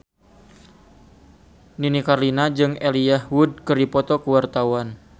Nini Carlina jeung Elijah Wood keur dipoto ku wartawan